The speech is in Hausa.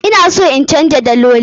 Ina son in canza daloli.